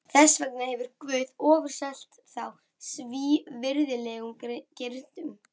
Þess vegna hefur Guð ofurselt þá svívirðilegum girndum.